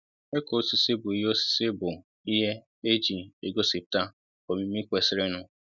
ịkụ osisi bu ihé osisi bu ihé e jì é gosiputa omimi kwesirinụ